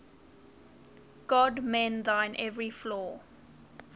god mend thine every flaw